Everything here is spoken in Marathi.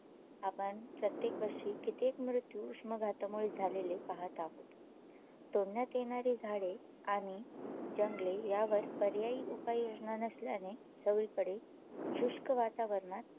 आपण प्रत्येका वर्षी कित्येक मृत्यू उष्माघातामुळे झालेले पाहात आहोत तोडण्यात येणारी झाडे आणि जंगले यावर पर्यायी उपाययोजना नसल्याने सगळीकडे शुष्क वातावरणात